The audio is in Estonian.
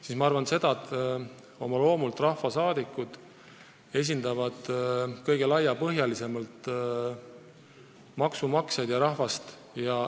Mina arvan, et oma loomult rahvasaadikud esindavadki kõige laiemalt maksumaksjat ja üldse rahvast.